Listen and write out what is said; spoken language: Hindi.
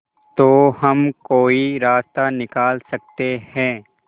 तो हम कोई रास्ता निकाल सकते है